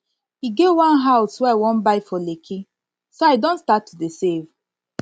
e get one house wey i wan buy for lekki so i don start to save